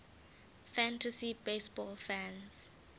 fantasy baseball fans